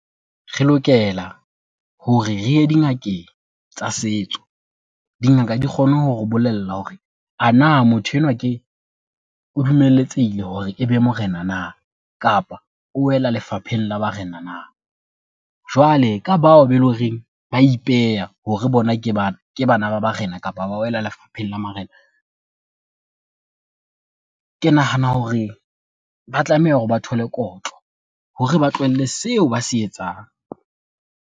Re lokela hore re ye dingakeng tsa setso. Dingaka di kgone hore o bolella hore a na motho enwa o dumeletsehile hore e be morena na, kapa o wela lefapheng la barena na. Jwale ka bao be loreng ba ipeya hore bona ke bana ba barena, kapa ba wela lefapheng la marena, ke nahana hore ba tlameha hore ba thole kotlo hore ba tlohelle seo ba se etsang.